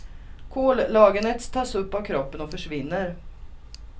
Kollagenet tas upp av kroppen och försvinner.